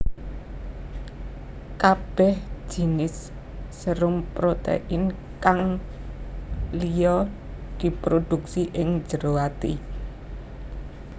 Kabeh jinis serum protein kang lliya diproduksi ing jero ati